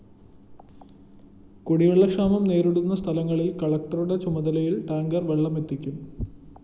കുടിവെള്ളക്ഷാമം നേരിടുന്ന സ്ഥലങ്ങളില്‍ കളക്ടറുടെ ചുമതലയില്‍ ടാങ്കറില്‍ വെള്ളമെത്തിക്കും